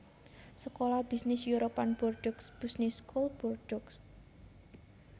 Sekolah bisnis European Bordeaux Business School Bordeaux